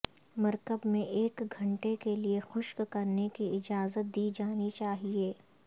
مرکب میں ایک گھنٹے کے لئے خشک کرنے کی اجازت دی جانی چاہئے